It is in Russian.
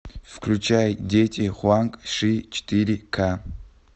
включай дети хуанг ши четыре ка